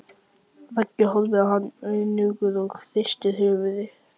Raggi horfir á hann önugur og hristir höfuðið.